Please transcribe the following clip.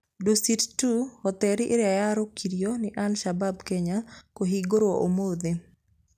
Dusitd2: Hoteli ĩrĩa yarũrũkĩirio nĩ al-Shabab Kenya kũhingũrwo ũmũthĩ.